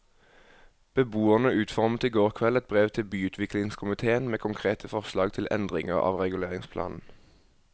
Beboerne utformet i går kveld et brev til byutviklingskomitéen med konkrete forslag til endringer av reguleringsplanen.